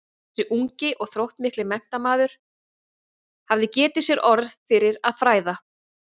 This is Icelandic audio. Þessi ungi og þróttmikli menntamaður hafði getið sér orð fyrir að fræða